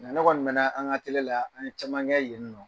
Nka ne kɔni mɛna an ka atɛliye , an ye caman kɛ yen nɔ.